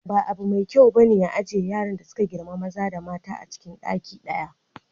Ba abu mai kyau bane a ajiye yaran da suka girma maza da mata acin ɗaki ɗaya.